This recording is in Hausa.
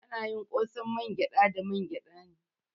Ana yin ƙosan mangyada da mangyada ne.